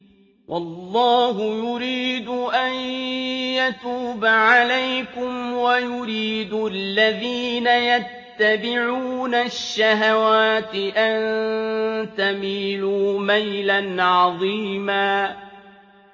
وَاللَّهُ يُرِيدُ أَن يَتُوبَ عَلَيْكُمْ وَيُرِيدُ الَّذِينَ يَتَّبِعُونَ الشَّهَوَاتِ أَن تَمِيلُوا مَيْلًا عَظِيمًا